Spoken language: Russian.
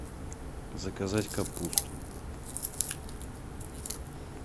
заказать капусту